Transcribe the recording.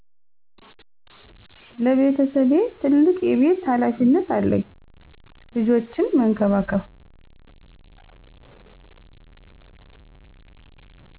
ለቤተሰቤ ትልቅ የቤት ሃላፊነት አለኝ ልጆችን መንከባከብ